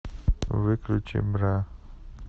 выключи бра